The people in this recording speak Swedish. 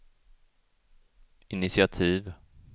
initiativ